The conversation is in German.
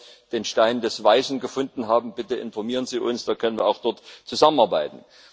Wenn Sie hier den Stein der Weisen gefunden haben, bitte informieren Sie uns, dann können wir auch dort zusammenarbeiten.